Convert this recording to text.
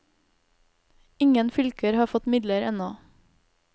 Ingen fylker har fått midler ennå.